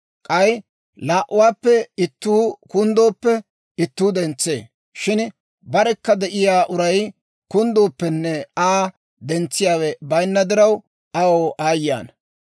K'ay, laa"uwaappe ittuu kunddooppe ittuu dentsee; shin barekka de'iyaa uray kunddooppenne Aa dentsiyaawe bayinna diraw, aw aayye ana!